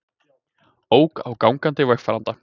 Ók á gangandi vegfaranda